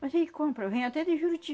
Mas aí compra, vem até de Juruti.